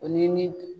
O ni